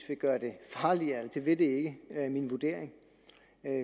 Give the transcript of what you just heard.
vil gøre det farligere det vil det ikke er min vurdering